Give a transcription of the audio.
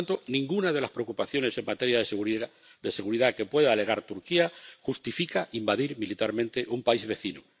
Por tanto, ninguna de las preocupaciones en materia de seguridad que pueda alegar Turquía justifica invadir militarmente un país vecino